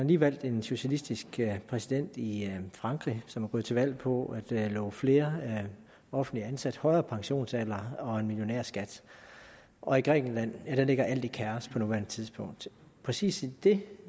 lige valgt en socialistisk præsident i frankrig som er gået til valg på at love flere offentligt ansatte højere pensionsalder og millionærskat og i grækenland ligger alt i kaos på nuværende tidspunkt præcis i det